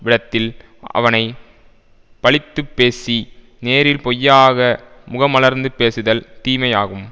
விடத்தில் அவனை பழித்து பேசி நேரில் பொய்யாக முகமலர்ந்து பேசுதல் தீமையாகும்